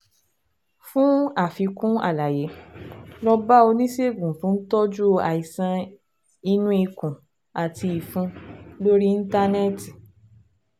Fún àfikún àlàyé, lọ bá oníṣègùn tó ń tọ́jú àìsàn inú ikùn àti ìfun lórí Íńtánẹ́ẹ̀tì